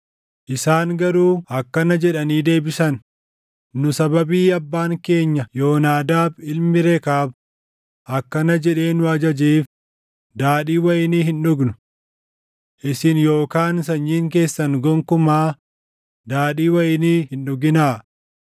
Isaan garuu akkana jedhanii deebisan: “Nu sababii abbaan keenya Yoonaadaab ilmi Rekaab akkana jedhee nu ajajeef daadhii wayinii hin dhugnu: ‘Isin yookaan sanyiin keessan gonkumaa daadhii wayinii hin dhuginaa.